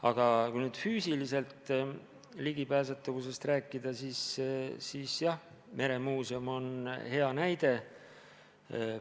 Aga kui füüsilisest ligipääsetavusest rääkida, siis jah, meremuuseum on hea näide.